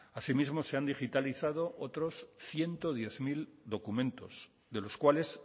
asimismo se han digitalizado otros ciento diez mil documentos de los cuales